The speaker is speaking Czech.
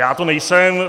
Já to nejsem.